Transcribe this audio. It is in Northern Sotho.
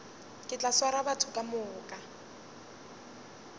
ke tla swara batho kamoka